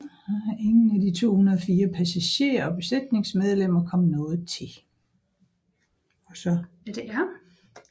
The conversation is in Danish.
Ingen af de 204 passagerer og besætningsmedlemmer kom noget til